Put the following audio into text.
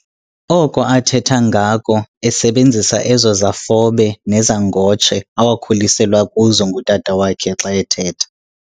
oko athetha ngako, esebenzisa ezo zafobe nezangotshe awakhuliselwa kuzo ngutata wakhe xa ethetha.